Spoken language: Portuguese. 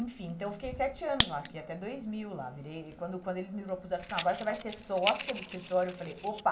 Enfim, então eu fiquei sete anos lá, fiquei até dois mil lá, virei, quando quando eles me propuseram, falaram, agora você vai ser sócia do escritório, eu falei, opa,